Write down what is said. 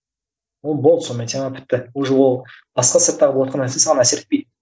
ол болды сонымен тема бітті уже ол басқа сырттағы болыватқан нәрсе саған әсер етпейді